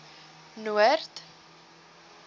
noord